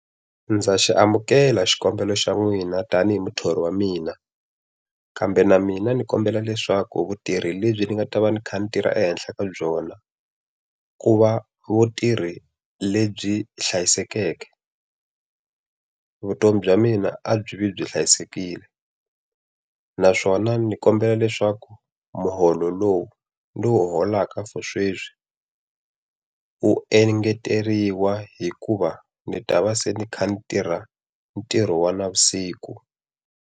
Ndza xi amukela xikombelo xa n'wina tanihi muthori wa mina, kambe na mina ni kombela leswaku vutirhi lebyi ni nga ta va ni kha ni tirha ehenhla ka byona, ku va vutirhi lebyi hlayisekeke. Vutomi bya mina a byi vi byi hlayisekile. Naswona ni kombela leswaku muholo lowu ni wu holaka for sweswi wu engeteriwa hikuva ni ta va se ni kha ni tirha ntirho wa navusiku.